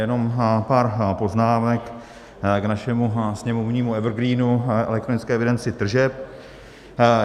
Jenom pár poznámek k našemu sněmovnímu evergreenu, elektronické evidenci tržeb.